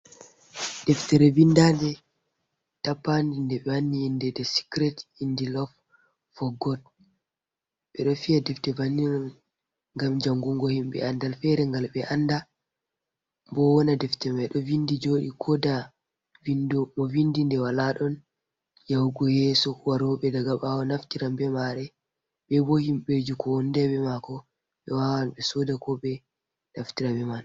Deftere vindande tappandi nde ɓe wanni inde de sikret indi lof for got, ɓe ɗo fiya defte bannil on ngam jangungo himɓɓe andal fere ngal ɓe anda bo wona defte mai ɗo vindi joɗi koda vindo mo vindi nɗe wala ɗon yahugo yeso waroɓe daga ɓawo naftiran be mare, ɓe bo himbe jukowondebe mako be wawan be soda ko be naftirabe man